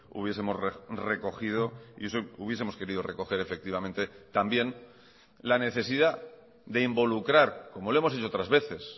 hubiesemos recogido y eso hubiesemos querido recoger efectivamente también la necesidad de involucrar como lo hemos dicho otras veces